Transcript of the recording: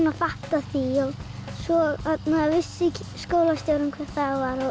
að fatta það svo vissi skólastjórinn hver það